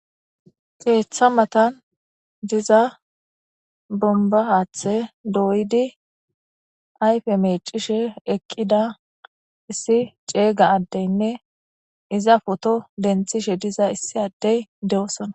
keeththa matan diza bomba aathe dooydi ayfe mecishe eqqida issi ceeyga addeynne iza foto denthishe diza issi addey de7osona